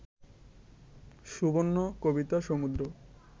সুবর্ণ, কবিতা, সমুদ্র